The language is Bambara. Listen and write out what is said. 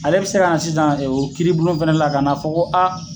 Ale bi se ka na sisan o kiiri bulon fana la ka na fɔ ko